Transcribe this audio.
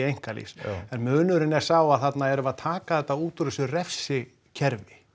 einkalífs en munurinn er sá að þarna erum við að taka þetta út úr þessu refsikerfi